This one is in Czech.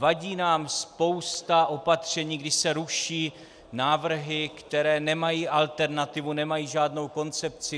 Vadí nám spousta opatření, když se ruší návrhy, které nemají alternativu, nemají žádnou koncepci.